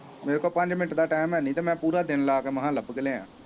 ਮੇਰੇ ਕੋਲ ਪੰਜ ਮਿੰਟ ਦਾ ਟਾਈਮ ਹੈ ਨਹੀਂ ਅਤੇ ਮੈਂ ਪੂਰਾ ਦਿਨ ਲਾ ਕੇ ਲੱਭ ਕੇ ਲਿਆਇਆਂ।